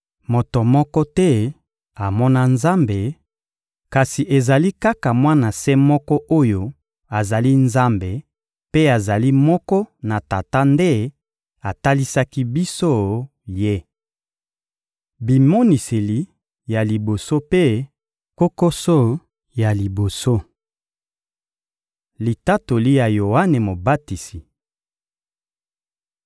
Moto moko te amona Nzambe, kasi ezali kaka Mwana se moko oyo azali Nzambe mpe azali moko na Tata nde atalisaki biso Ye. Bimoniseli ya liboso mpe kokoso ya liboso Litatoli ya Yoane Mobatisi (Mat 3.1-12; Mlk 1.2-8; Lk 3.15-17)